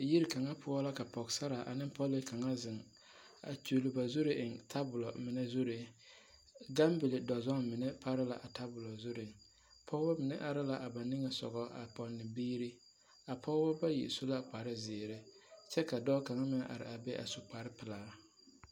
Yiri kaŋa poɔ la ka pɔgesaraa ane pɔlee kaŋa zeŋ a kyuli ba zuri eŋ tabol mine zuree, gambili dɔzɔŋ mine pare la a tabolo zuree, Pɔgebɔ mine araa ba niŋesogɔ a pɔnne biiri, a pɔgebɔ bayi su la kpare zeere kyɛ ka dɔɔ kaŋa meŋ are a be a su kpare pelaa.